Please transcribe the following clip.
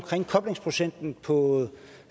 koblingsprocenten på